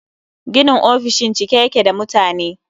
Ginin ofishin cike yake da mutane